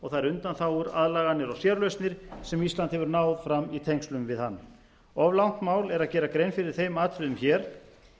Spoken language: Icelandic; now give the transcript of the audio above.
og þær undanþágur aðlaganir og sérlausnir sem ísland hefur náð fram í tengslum við hann of langt mál er að gera grein fyrir þeim atriðum hér